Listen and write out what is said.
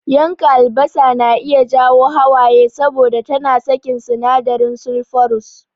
Yanka albasa na iya jawo hawaye saboda tana sakin sinadarin sulfurous.